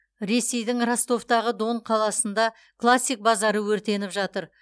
ресейдің ростовтағы дон қаласында классик базары өртеніп жатыр